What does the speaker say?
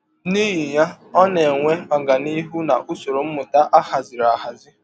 N’ihi ya, ọ na - enwe ọganihụ n’usọrọ mmụta a hazịrị ahazi.